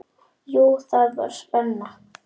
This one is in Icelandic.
Jú, það var spenna.